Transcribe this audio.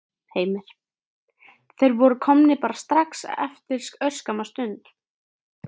Heimir: Þeir voru komnir bara strax eftir örskamma stund?